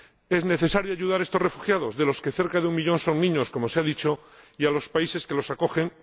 Es necesario ayudar a estos refugiados ―de los que cerca de un millón son niños, como se ha dicho― y a los países que los acogen.